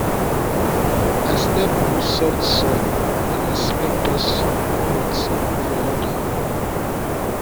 i step on soft soil and i smell pest rot for under